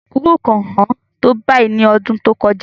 Kókò kò hán tó báyìí ní ọdún tó kọjá.